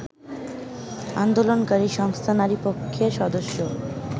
আন্দোলনকারী সংস্থা নারীপক্ষের সদস্য